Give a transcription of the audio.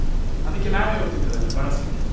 ಅದಕ್ಕೆ ನಾವೇ ಹೋಗ್ತಿದ್ವಲ್ಲ ಬಡಸ್ಲಿಕ್ಕೆ ಎಲ್ಲ.